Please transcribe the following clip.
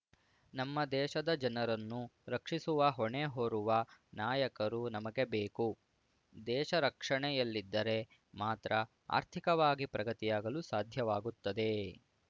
ನಮ್ಮ ದೇಶದ ಜನರನ್ನು ರಕ್ಷಿಸುವ ಹೊಣೆ ಹೊರುವ ನಾಯಕರು ನಮಗೆ ಬೇಕು ದೇಶ ರಕ್ಷಣೆಯಲ್ಲಿದ್ದರೆ ಮಾತ್ರ ಆರ್ಥಿಕವಾಗಿ ಪ್ರಗತಿಯಾಗಲು ಸಾಧ್ಯವಾಗುತ್ತದೆ